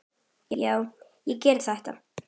Já, ég gerði þetta!